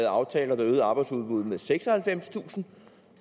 aftaler der øgede arbejdsudbuddet med seksoghalvfemstusind